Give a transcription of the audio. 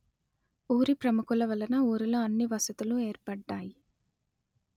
ఊరి ప్రముఖుల వలన ఊరిలో అన్ని వసతులు ఏర్పడ్డాయి